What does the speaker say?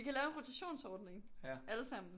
Vi kan lave en rotationsordning alle sammen